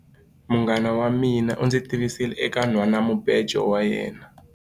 Munghana wa mina u ndzi tivisile eka nhwanamubejo wa yena.